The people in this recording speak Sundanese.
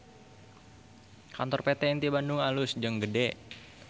Kantor PT Inti Bandung alus jeung gede